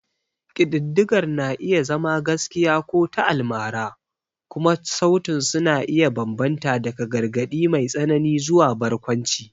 Ƙididdigar na iya zama gaskiya ko ta almara, kuma sautin su na iya bambanta daga gargaɗi mai tsanani zuwa barkwanci.